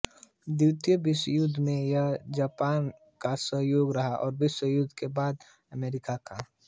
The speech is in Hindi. द्वितीय विश्वयुद्ध में यह जापान का सहयोगी रहा और विश्वयुद्ध के बाद अमेरिका का